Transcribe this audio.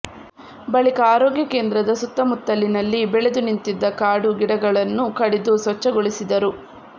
ಬಳಿಕ ಆರೋಗ್ಯ ಕೇಂದ್ರದ ಸುತ್ತ ಮುತ್ತಲಿನಲ್ಲಿ ಬೆಳೆದು ನಿಂತಿದ್ದ ಕಾಡು ಗಿಡಗಳನ್ನು ಕಡಿದು ಸ್ವಚ್ಛಗೊಳಿಸಿದರು